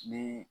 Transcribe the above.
Ni